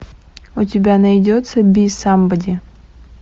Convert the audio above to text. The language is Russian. у тебя найдется би самбоди